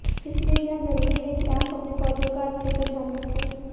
इसलिए यह जरूरी है कि आप अपने पौधों का अच्छे से ध्यान रखें